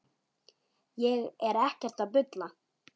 Ég er ekkert að bulla.